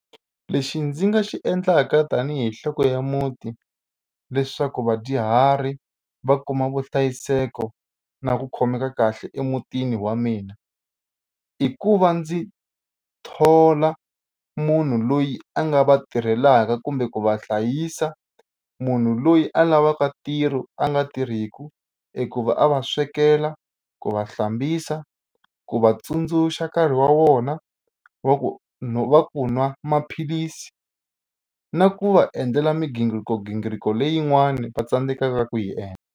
Lexi ndzi nga xi endlaka tanihi nhloko ya muti leswaku vadyuhari va kuma vuhlayiseko na ku khomeka kahle emutini wa mina i ku va ndzi thola munhu loyi a nga va tirhelaka kumbe ku va hlayisa munhu loyi a lavaka ntirho a nga tirhiku i ku va a va swekela ku va hlambisa ku vatsundzuxa nkarhi wa vona wa ku no wa ku nwa maphilisi na ku va endlela migingirikogingiriko leyin'wani va tsandzekaka ku yi endla.